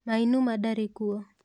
Mainuma ndarĩ kuo.